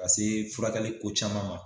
Ka se furakɛli ko caman ma.